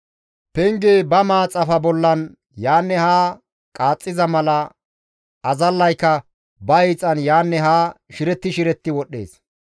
Pengey ba maaxafa bollan yaanne haa qaaxxiza mala azallaykka ba hiixan yaanne haa shiretti shiretti wodhdhees.